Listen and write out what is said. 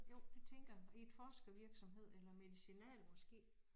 Jo det tænker jeg i et forskervirksomhed eller medicinal måske